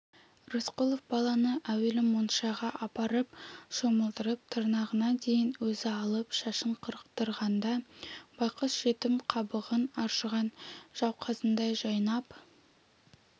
рысқұлов баланы әуелі моншаға апарып шомылдырып тырнағына дейін өзі алып шашын қырықтырғанда байғұс жетім қабығын аршыған жауқазындай жайнап